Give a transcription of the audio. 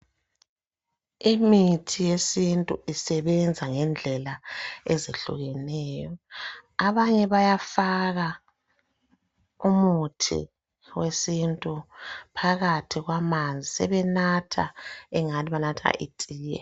Imithi yesintu isebenza ngendlela ezehlukeneyo abanye bayafaka umuthi wesintu phakathi kwamanzi sebenatha engani banatha itiye.